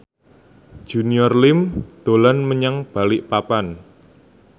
Junior Liem dolan menyang Balikpapan